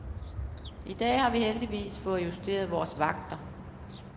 I dag har vi heldigvis fået justeret vores vagter.